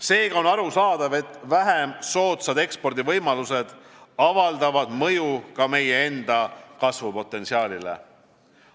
Seega on arusaadav, et vähem soodsad ekspordivõimalused avaldavad mõju ka meie enda kasvupotentsiaalile.